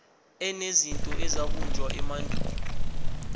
enezinto ezabunjwa emandulo